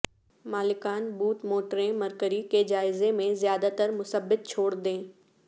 مالکان بوٹ موٹریں مرکری کے جائزے میں زیادہ تر مثبت چھوڑ دیں